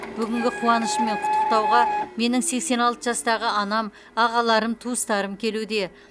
бүгінгі қуанышыммен құттықтауға менің сексен алты жастағы анам ағаларым туыстарым келуде